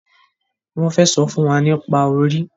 Wón fè sọfún wá nípa orí